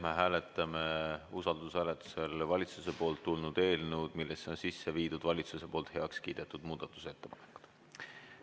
Me hääletame usaldushääletusel valitsusest tulnud eelnõu, millesse on sisse viidud valitsuses heaks kiidetud muudatusettepanekud.